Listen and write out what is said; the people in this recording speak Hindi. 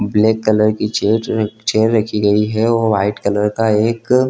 ब्लैक कलर की चेयर चेयर रखी गई है और वाइट कलर का एक --